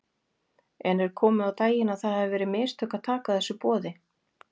En er komið á daginn að það hafi verið mistök að taka þessu boði?